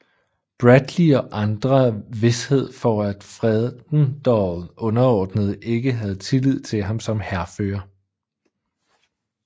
Bradley og andre vished for at Fredendall underordnede ikke havde tillid til ham som hærfører